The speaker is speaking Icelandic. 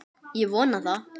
Ég vona það.